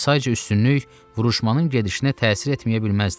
Sayca üstünlük vuruşmanın gedişinə təsir etməyə bilməzdi.